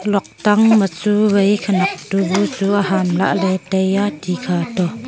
luak tang ma chuwai khanak dubu chu amham lahley taiya tikha khato.